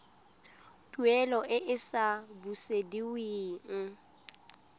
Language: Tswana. tuelo e e sa busediweng